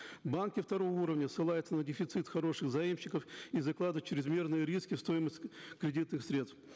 банки второго уровня ссылаются на дефицит хороших заемщиков и закладывают чрезмерные риски в стоимость кредитных средств